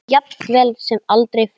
Jafnvel sem aldrei fyrr.